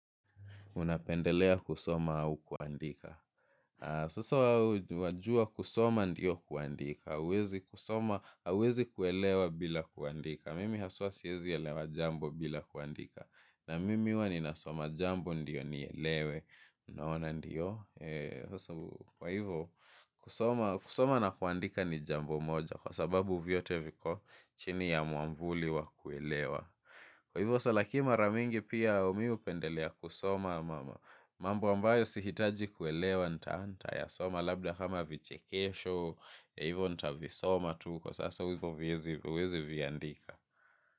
Unapendelea kusoma au kuandika? Sasa wajua kusoma ndio kuandika. Hauwezi kuelewa bila kuandika. Mimi haswa siezi elewa jambo bila kuandika. Na mimi huwa ninasoma jambo ndio nielewe. Unaona ndiyo. Kwa hivyo kusoma na kuandika ni jambo moja. Kwa sababu vyote viko chini ya mwamvuli wa kuelewa. Kwa hivyo mara mingi pia mi hupendelea kusoma. Mambo ambayo sihitaji kuelewa nitayasoma labda kama vichekesho, hivo nitavisoma tu kwa sasa hivo huwezi viandika.